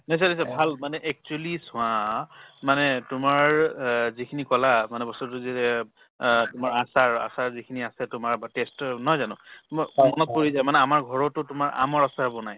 ভাল মানে actually চোৱা মানে তোমাৰ অ যিখিনি ক'লা মানে বস্তুতো অ তোমাৰ আচাৰ~ আচাৰ যিখিনি আছে তোমাৰ বা taste ও নহয় জানো মোৰ মনত পৰি যায় মানে আমাৰ ঘৰতো তোমাৰ আমৰ আচাৰ বনায়